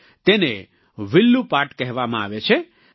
તેને વિલ્લૂ પાટ કહેવામાં આવે છે